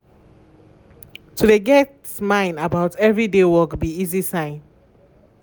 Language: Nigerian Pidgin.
to de get mine about everyday work be easy sign.